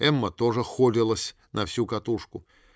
эмма тоже холилась на всю катушку